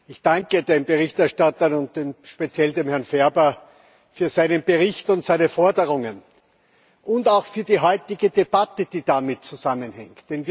Ich danke den Berichterstattern und speziell Herrn Ferber für seinen Bericht und seine Forderungen, und auch für die heutige Debatte, die damit zusammenhängt.